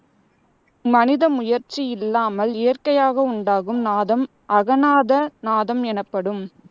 மனித முயற்சி இல்லாமல் இயற்கையாக உண்டாகும் நாதம் அகநாத நாதம் எனப்படும்.